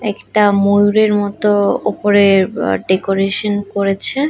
একটা ময়ূরের মতো উপরে ব ডেকোরেশন করেছে।